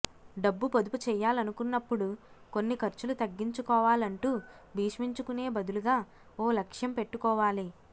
డబ్బు పొదుపు చేయాలనుకున్నప్పుడు కొన్ని ఖర్చులు తగ్గించుకోవాలంటూ భీష్మించుకునే బదులుగా ఓ లక్ష్యం పెట్టుకోవాలి